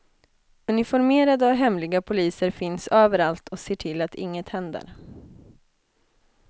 Uniformerade och hemliga poliser finns överallt och ser till att inget händer.